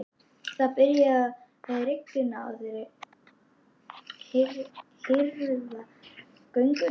Það er byrjað að rigna og þeir herða gönguna.